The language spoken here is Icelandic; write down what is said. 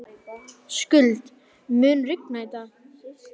Skuld, mun rigna í dag?